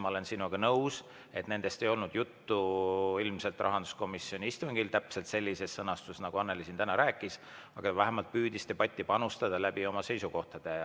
Ma olen sinuga nõus, et nendest ei olnud ilmselt rahanduskomisjoni istungil juttu täpselt sellises sõnastuses, nagu Annely siin täna rääkis, aga vähemalt ta püüdis debatti panustada oma seisukohti selgitades.